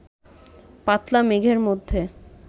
পাতলা মেঘের মধ্যে